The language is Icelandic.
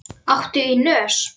Hvort hann gæti ekki skipt?